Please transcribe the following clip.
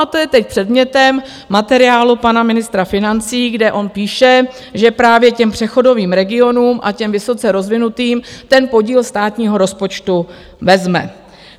A to je teď předmětem materiálu pana ministra financí, kde on píše, že právě těm přechodovým regionům a těm vysoce rozvinutým ten podíl státního rozpočtu vezme.